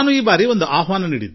ನಾನು ಈ ಬಾರಿ ಒಂದು ಕರೆ ನೀಡಿದ್ದೇನೆ